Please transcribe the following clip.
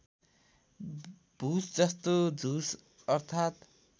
भुसजस्तो झुस अर्थात्